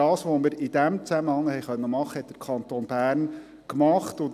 Was wir aber in diesem Zusammenhang tun konnten, hat der Kanton Bern getan.